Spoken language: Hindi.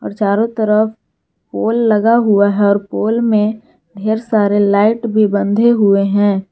चारों तरफ पोल लगा हुआ है और पोल में ढेर सारे लाइट भी बंधे हुए हैं।